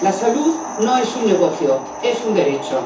La salud no es un negocio, es un derecho.